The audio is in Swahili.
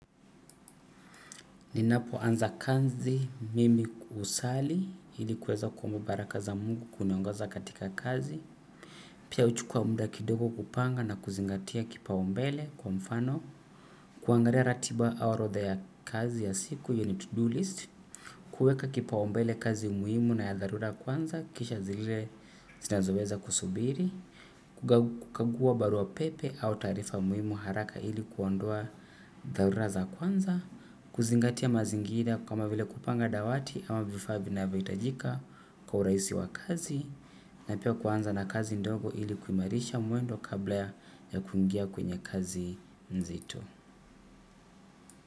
Ninapo anza kazi mimi husali ili kuweza kuomba baraka za mungu kuniongoza katika kazi. Pia huchukua muda kidogo kupanga na kuzingatia kipaumbele kwa mfano. Kuangalia ratiba au orodha ya kazi ya siku hiyo ni to-do list. Kueka kipaumbele kazi muhimu na ya dharura kwanza kisha zilile zinazoweza kusubiri. Kukagua barua pepe au taarifa muhimu haraka ili kuondoa dharura za kwanza. Kuzingatia mazingira kama vile kupanga dawati ama vifa vinavyo itajika kwa urahisi wa kazi. Na pia kuanza na kazi ndogo ili kuimarisha mwendo kabla ya kungia kwenye kazi hii nzito.